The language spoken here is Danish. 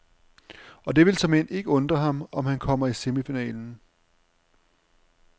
Og det vil såmænd ikke undre ham, om han kommer i semifinalen.